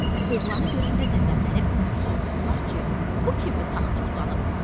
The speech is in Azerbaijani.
Oğlanı görəndə qəzəblənib soruşdular ki, bu kimdir taxta uzanıb?